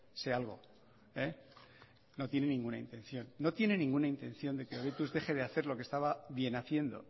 se algo no tienen ninguna intención de que hobetuz deje de hacer lo que estaba bienhaciendo